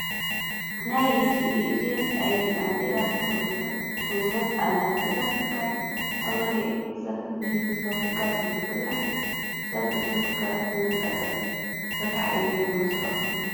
ናይ ዩኤስ ኣይዲ ባንዴራ ትውልብለብ ኣላ፡፡ እዚ ትካል ኣብ ረድኤት ዝሳተፍ ዘይመንግስታዊ ትካል እዩ፡፡ ብዙሕ ሰብ እዞም ትካላት ንፅድቂ ዝሰርሑ እዩ ዝመስሎ፡፡